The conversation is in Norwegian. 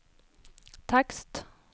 tekst